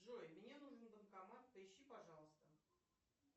джой мне нужен банкомат поищи пожалуйста